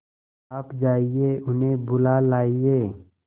आप जाइए उन्हें बुला लाइए